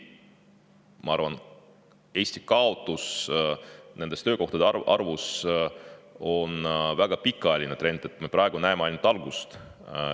Ma arvan, et Eesti kaotus töökohtade arvus on väga pikaajaline trend, me praegu näeme selle algust.